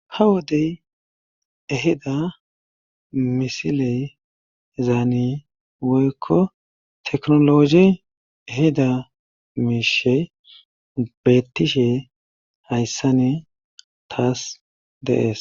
ha wodey eheda misiley zaani woykko teknologe eheda miishe beettishe hayssani taas deees